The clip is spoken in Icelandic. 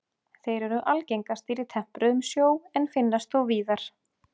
Þeir eru algengastir í tempruðum sjó en finnast þó víðar.